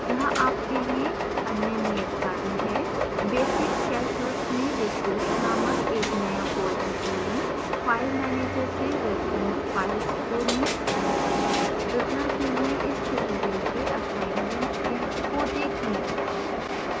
यहाँ आपके लिए अन्य नियतकार्य है